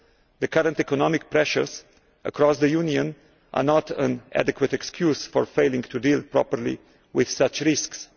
The current economic pressures across the Union are not an adequate excuse for failing to deal properly with such risks.